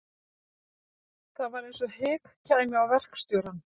Það var eins og hik kæmi á verkstjórann.